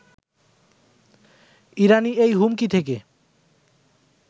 ইরানি এই হুমকি থেকে